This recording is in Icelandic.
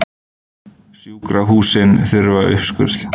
Sjúkrahúsin þurftu uppskurð